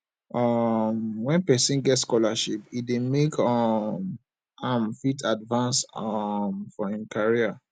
um when person get scholarship e dey make um am fit advance um for im career